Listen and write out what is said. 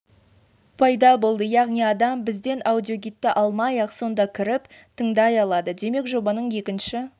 пайда болды яғни адам бізден аудиогидті алмай-ақ сонда кіріп тыңдай алады демек жобаның екінші